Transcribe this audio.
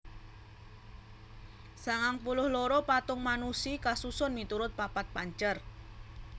sangang puluh loro patung Manushi kasusun miturut papat pancer